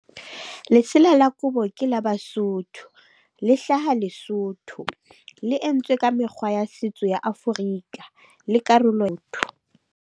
Lesela la kobo ke la Basotho, le hlaha Lesotho. Le entswe ka mekgwa ya setso ya Afrika, le karolo .